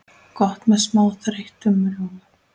Gott með smá þeyttum rjóma.